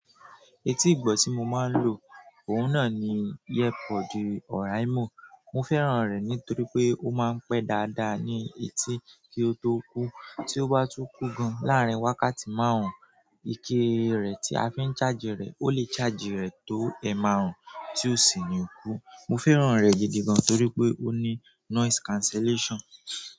Etí ìgbọ̀ tí mo máa ń lò òun náà ni yepodi oraimo. Mo fẹ́ràn rẹ̀ nítorí pé ó máa ń pẹ́ dáadáa ní etí kí ó tó kú. Tí ó bá tú kù gan, láàárín wákàtí márùn-ún, ìkéere tí a fi ń ṣáàjì rẹ̀ ó lè ṣáàjì rẹ̀ tó ẹ márùn-ún tí ó sì ni ikú. Mo fẹ́ràn rẹ̀ gidi gan torí pé ó ní noise cancellation.